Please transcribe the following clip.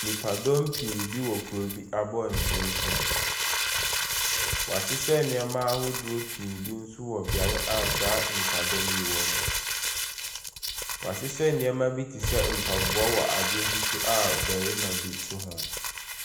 Nnipa dɔm pii bi wɔ kuro bi abɔnten so. Wahyehyɛ nneɛma ahodoɔ pii bi nso wɔ beaeɛ a saa nnipa dɔm yi wɔ no. Wahyehyɛ nneɛma bi te sɛ mpaboa wɔ adeɛ bi so a ɔbɛrima bi te ho.